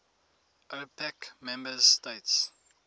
opec member states